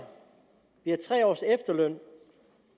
vi har tre års efterløn